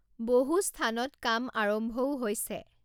বহু স্থানত কাম আৰম্ভও হৈছে।